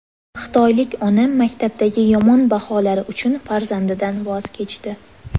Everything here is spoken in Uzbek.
Xitoylik ona maktabdagi yomon baholari uchun farzandidan voz kechdi.